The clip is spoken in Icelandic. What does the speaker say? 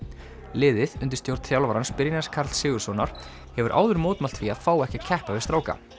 liðið undir stjórn þjálfarans Brynjars Karls Sigurðssonar hefur áður mótmælt því að fá ekki að keppa við stráka